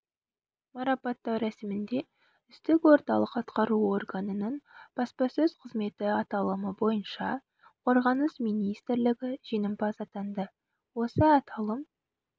марапаттау рәсімінде үздік орталық атқару органының баспасөз қызметі аталымы бойынша қорғаныс министрлігі жеңімпаз атанды осы аталым